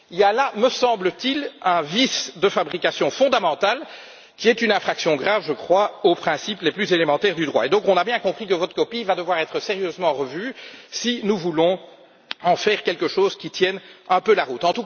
Il y a là, me semble t il, un vice de fabrication fondamental, qui est une infraction grave, je crois, aux principes les plus élémentaires du droit. On a donc bien compris que votre copie devra être sérieusement revue si nous voulons en faire quelque chose qui tienne un peu la route.